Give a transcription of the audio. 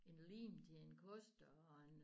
En lim til en kost og